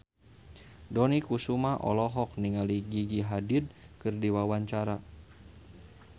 Dony Kesuma olohok ningali Gigi Hadid keur diwawancara